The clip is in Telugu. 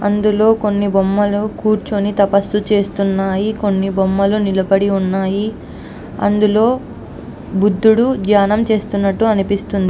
అందులోనే కొన్ని బొమ్మలు కూర్చొని తపస్సు చేస్తున్నట్టు ఉన్నాయి. కొన్ని బొమ్మలు నిలబడి ఉన్నాయి. లోని బుద్ధుడు ధ్యానం చేస్తున్నట్టు అనిపిస్తుంది.